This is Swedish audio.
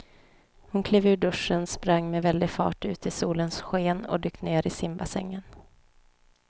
Hon klev ur duschen, sprang med väldig fart ut i solens sken och dök ner i simbassängen.